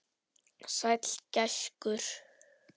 Sæll gæskur.